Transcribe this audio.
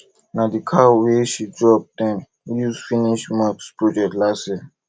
na the cow wey she drop dem use finish mosque project last year